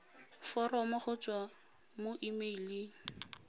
foromo go tswa mo emeileng